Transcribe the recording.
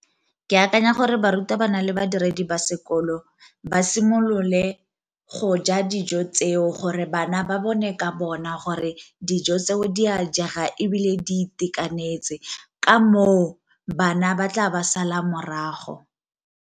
Ke akanya gore barutabana le badiredi ba sekolo ba simolole go ja dijo tseo gore bana ba bone ka bona gore dijo tseo di a jega ebile di itekanetse, ka moo bana ba tla ba sala morago.